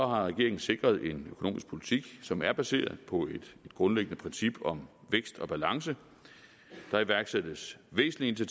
har regeringen sikret en økonomisk politik som er baseret på et grundlæggende princip om vækst og balance der iværksættes væsentlige